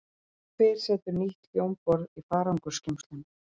Hver setur nýtt hljómborð í farangursgeymsluna?